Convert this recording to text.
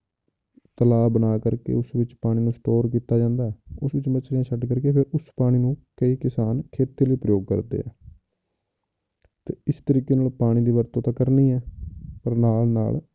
ਤਲਾਬ ਬਣਾ ਕਰਕੇ ਉਸ ਵਿੱਚ ਪਾਣੀ ਨੂੰ store ਕੀਤਾ ਜਾਂਦਾ ਹੈ, ਉਸ ਵਿੱਚ ਮੱਛਲੀਆਂ ਛੱਡ ਕਰਕੇ ਫਿਰ ਉਸ ਪਾਣੀ ਨੂੰ ਕਈ ਕਿਸਾਨ ਖੇਤੀ ਲਈ ਪ੍ਰਯੋਗ ਕਰਦੇ ਹੈ ਤੇ ਇਸ ਤਰੀਕੇ ਨਾਲ ਪਾਣੀ ਦੀ ਵਰਤੋਂ ਤਾਂ ਕਰਨੀ ਹੀ ਆਂ ਪਰ ਨਾਲ ਨਾਲ